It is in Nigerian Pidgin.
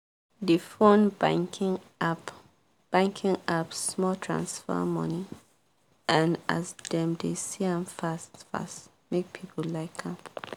the phone banking app banking app small transfer money and as dem dey see m fast fast make people like m